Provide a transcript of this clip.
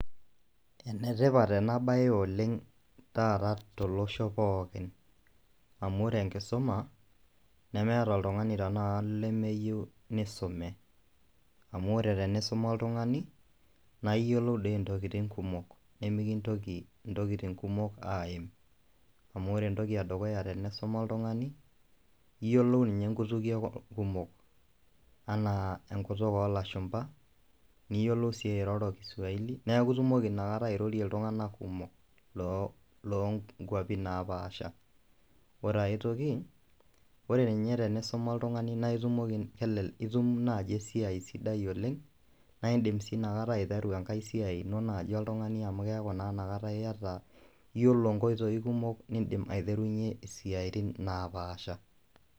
Ene tipat ena baye oleng' taata tolosho pookin, amu wore enkisuma, nemeeta oltungani tenakata lemeyieou nisume. Amu wore tenisuma oltungani, naa iyiolou dii intokitin kumok nemikintoki intokitin kumok aim. Amu wore entoki edukuya tenisuma oltungani, iyielou ninye inkutukie kumok, enaa enkutuk oolashumba, niyiolou sii airroro kiswahili, neeku itumoki inakata airrorie iltunganak kumok loonkuapin napaaasha. Wore ae toki, wore ninye tenisuma oltungani naa itumoki, elele itum naaji esiai sidai oleng', naa indim sii inakata aiteru enkae siai ino naaji oltungani amu keeku naa inakata iyata, iyielo inkoitoi kumok niidim aiterunye isiatin naapaasha.